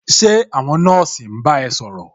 Ṣé àwọn nọ́ọ̀sì ń bá ẹ ṣòrọ̀?